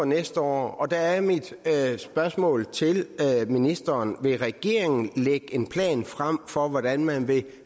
næste år der er mit spørgsmål til ministeren vil regeringen lægge en plan frem for hvordan man vil